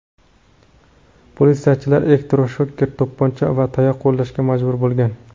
Politsiyachilar elektroshoker, to‘pponcha va tayoq qo‘llashga majbur bo‘lgan.